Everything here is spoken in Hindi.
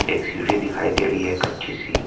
एक सीढ़ी दिखाई दे रही है एक कच्ची सी --